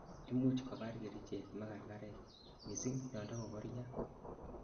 imuch kobar kerichek margarek, missing yontakokoria